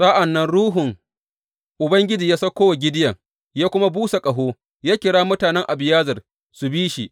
Sa’an nan Ruhun Ubangiji ya sauko wa Gideyon, ya kuma busa ƙaho, ya kira mutanen Abiyezer su bi shi.